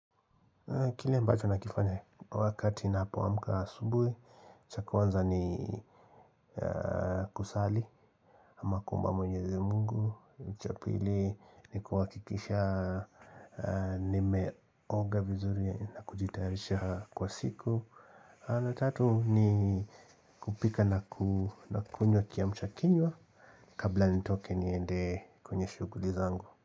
Kile ambacho nakifanya wakati napoamuka asubui, cha kwanza ni kusali, ama kuomba mwenyezi mungu, cha pili, ni kuhakikisha nimeoga vizuri na kujitayarisha kwa siku, na tatu ni kupika na kunywa kiamchakinywa kabla nitoke niende kwenye shuguli zangu.